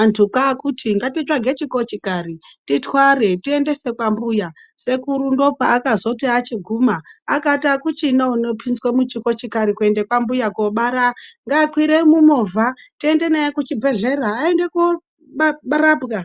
antu kwakuti ngatisvage chikochikari titware tiendese kwambuya..sekuru ndopakazoti achiguma akati akuchina unopinzwa muchikochikari kweende kwambuya kobara. Ngaakwire mumovha tiende naye kuchibhehlera aende korapwa.